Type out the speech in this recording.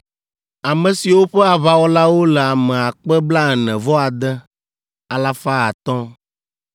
ame siwo ƒe aʋawɔlawo le ame akpe blaene-vɔ-ade, alafa atɔ̃ (46,500).